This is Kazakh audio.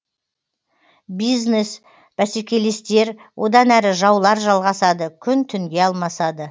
бизнес бәсекелестер одан әрі жаулар жалғасады күн түнге алмасады